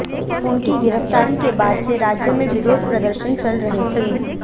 उनकी गिरफ्तारी के बाद से राज्य में विरोध प्रदर्शन चल रहे थे